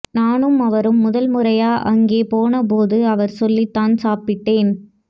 நானும் அவரும் முதல் முறையா அங்க போன போது அவர் சொல்லித்தான் சாப்பிட்டேன்